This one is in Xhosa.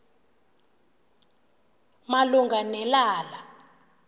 malunga ne lala